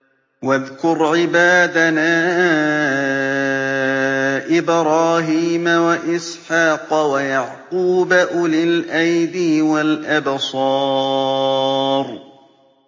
وَاذْكُرْ عِبَادَنَا إِبْرَاهِيمَ وَإِسْحَاقَ وَيَعْقُوبَ أُولِي الْأَيْدِي وَالْأَبْصَارِ